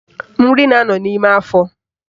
Nri na-anọ n'ime afọ